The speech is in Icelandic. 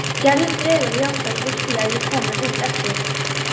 Gerður dregur jafnvel úr því að ég komi út eftir.